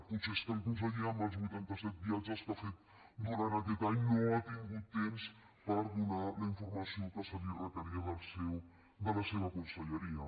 potser és que el conseller amb els vuitanta set viatges que ha fet durant aquest any no ha tingut temps per donar la informació que se li requeria de la seva conselleria